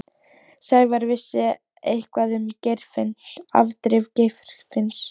Sævar vissi eitthvað um afdrif Geirfinns.